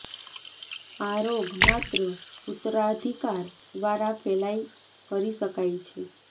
આ રોગ માત્ર ઉત્તરાધિકાર દ્વારા ફેલાય કરી શકાય છે